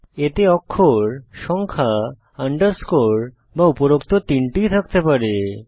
এতে অক্ষর সংখ্যা আন্ডারস্কোর বা উপরোক্ত 3টিই থাকতে পারে